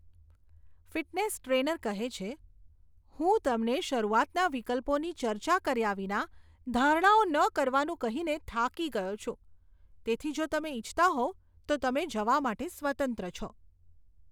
Fitness trainer કહે છે, હું તમને શરૂઆતના વિકલ્પોની ચર્ચા કર્યા વિના ધારણાઓ ન કરવાનું કહીને થાકી ગયો છું, તેથી જો તમે ઇચ્છતા હોવ, તો તમે જવા માટે સ્વતંત્ર છો.